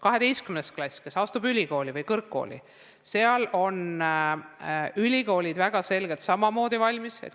Paljud 12. klassi lõpetanud soovivad astuda ülikooli või muusse kõrgkooli ja ülikoolid on samamoodi valmis.